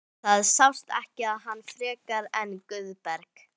Það sást ekki í hann frekar en Guðberg.